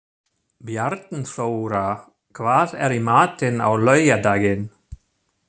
Bjarnþóra, hvað er í matinn á laugardaginn?